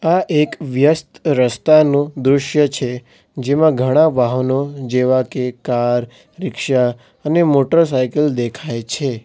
આ એક વ્યસ્ત રસ્તાનું દ્રશ્ય છે જેમાં ઘણા વાહનો જેવા કે કાર રીક્ષા અને મોટરસાયકલ દેખાય છે.